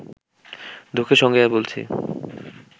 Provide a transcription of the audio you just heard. দুঃখের সঙ্গেই বলছি